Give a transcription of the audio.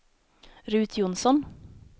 Ruth Jonsson